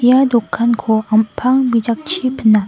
ia dokanko am·pang bijakchI pina.